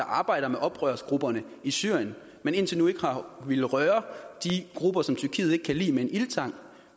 arbejder med oprørsgrupperne i syrien men indtil nu ikke har villet røre de grupper som tyrkiet ikke kan lide med en ildtang